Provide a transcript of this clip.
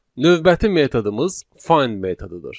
Növbəti metodumuz find metodudur.